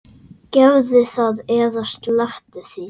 Gerðu það eða slepptu því.